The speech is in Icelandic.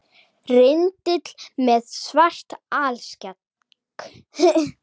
Rindill með svart alskegg